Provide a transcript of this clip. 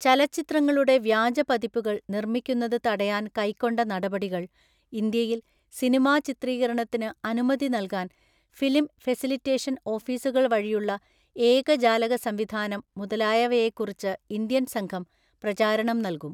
ചലച്ചിത്രങ്ങളുടെ വ്യാജപതിപ്പുകള്‍ നിർമ്മിക്കുന്നത് തടയാന്‍ കൈക്കൊണ്ട നടപടികള്‍ ഇന്ത്യയില്‍ സിനിമാചിത്രീകരണത്തിന് അനുമതി നൽകാന്‍ ഫിലിം ഫെസിലിറ്റേഷന്‍ ഓഫീസുകള്‍ വഴിയുള്ള ഏകജാലക സംവിധാനം മുതലായവയെക്കുറിച്ച് ഇന്ത്യന്‍ സംഘം പ്രചാരണം നല്കും.